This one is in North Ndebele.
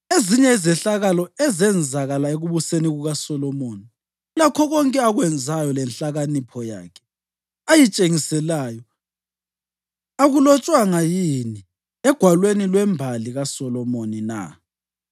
Ezinye izehlakalo ezenzakala ekubuseni kukaSolomoni lakho konke akwenzayo lenhlakanipho yakhe ayitshengiselayo akulotshwanga yini egwalweni lwembali kaSolomoni na?